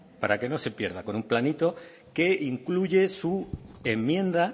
para que no se pierda con un planito que incluye su enmienda